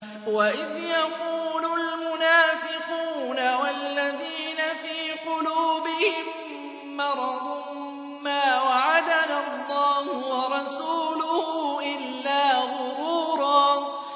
وَإِذْ يَقُولُ الْمُنَافِقُونَ وَالَّذِينَ فِي قُلُوبِهِم مَّرَضٌ مَّا وَعَدَنَا اللَّهُ وَرَسُولُهُ إِلَّا غُرُورًا